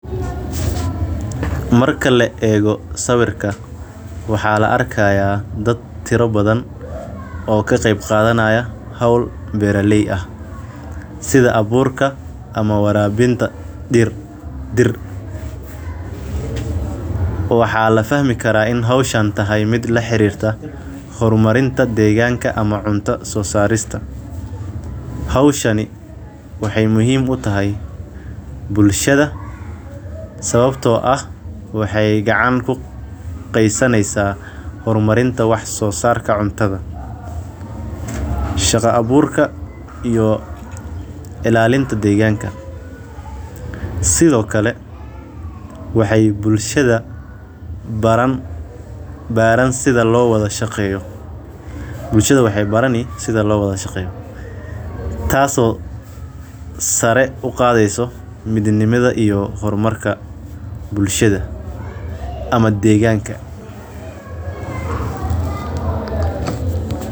Marka la eego sawirka, waxaa la arkayaa dad tiro badan oo ka qeyb qaadanaya hawl beeriley ah sida abuurka ama waraabinta dhir dir. Waxaa la fahmi karaa in hawshan tahay mid la xiriirta horumarinta, deegaanka ama cunta soo saarista. Hawshani waxay muhiim u tahay bulshada, sababtoo ah waxay gacan ku qaysanaysaa horumarinta wax soo saarka cuntada. Shaqo abuurka iyo ilaalinta deegaanka. Sidoo kale waxay bulshada baran baaran sida loowada shaqeeyo. Bulshada waxay baran yi sida loowada shaqeeyo taaso sare u qaadeyso mid nimida iyo hormarka bulshada ama dheegaanka.